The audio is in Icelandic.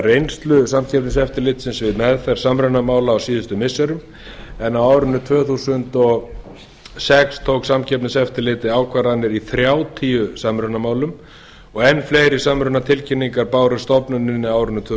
reynslu samkeppniseftirlitsins við meðferð samrunamála á síðustu missirum en á árinu tvö þúsund og sex tók samkeppniseftirlitið ákvarðanir í þrjátíu samrunamálum og enn fleiri samrunatilkynningar bárust stofnuninni á árinu tvö